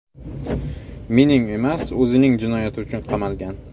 Mening emas, o‘zining jinoyati uchun qamalgan.